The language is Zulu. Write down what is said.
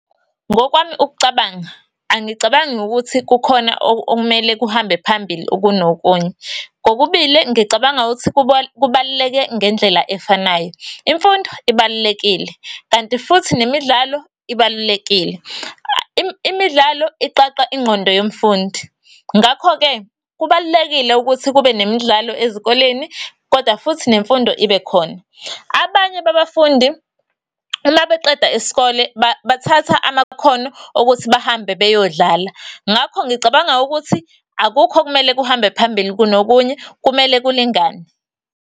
Ngokwami ukucabanga, angicabangi ukuthi kukhona okumele kuhambe phambili ukunokunye. Kokubili ngicabanga ukuthi kubaluleke ngendlela efanayo. Imfundo ibalulekile, kanti futhi nemidlalo, ibalulekile. Imidlalo, iqaqa ingqondo yomfundi, ngakho-ke, kubalulekile ukuthi kube nemidlalo ezikoleni, kodwa futhi nemfundo ibe khona. Abanye babafundi, uma beqeda isikole bathatha amakhono okuthi bahambe beyodlala. Ngakho, ngicabanga ukuthi, akukho okumele kuhambe phambili kunokunye, kumele kulingane.